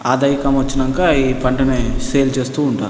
ఆదాయికం వచ్చినంక ఈ పంటని సేల్ చేస్తూ ఉంటా --